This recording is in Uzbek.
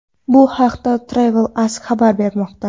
Bu haqda Travel Ask xabar bermoqda .